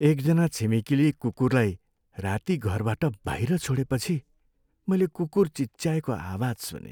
एकजना छिमेकीले कुकुरलाई राती घरबाट बाहिर छोडेपछि मैले कुकुर चिच्याएको आवाज सुनेँ।